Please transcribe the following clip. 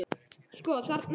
Sko, þarna sérðu.